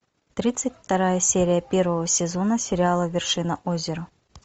тридцать вторая серия первого сезона сериала вершина озера